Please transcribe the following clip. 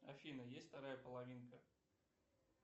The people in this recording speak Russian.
афина есть вторая половинка